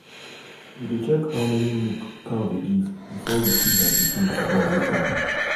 we dey check how many milk cow dey give before we choose her pikin to born later.